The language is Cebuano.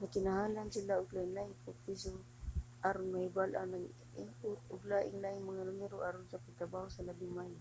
nagkinahanglan sila og lain-laing pagproseso aron mahibal-an ang input ug lain-laing mga numero aron sa pagtrabaho nga labing maayo